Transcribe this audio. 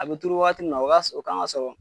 A bɛ turu wagati min na o ka sɔrɔ o kan ka sɔrɔ.